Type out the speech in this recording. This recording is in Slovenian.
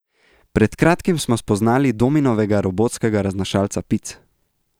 Pred kratkim smo spoznali Dominovega robotskega raznašalca pic ...